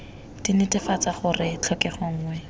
d netefatsa gore tlhokego nngwe